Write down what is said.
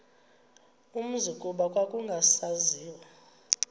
umzi kuba kwakungasaziwa